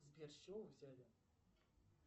сбер с чего вы взяли